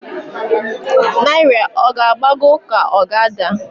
Naira ọ g'agbago k'o g' ada?